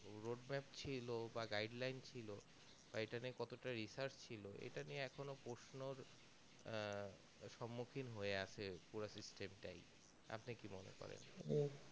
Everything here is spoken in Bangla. roadway ছিল বা guideline ছিল বা এটা নিয়ে কতটা research ছিল এটা নিয়ে এখনো প্রশ্নর আহ সম্মুখীন হয়ে আছে পুরো system তাই আপনি কি মনে করেন